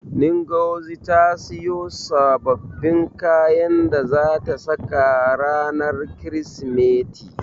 Ngozi ta siyo sababbin kayan da zata saka ranar Kirsimeti.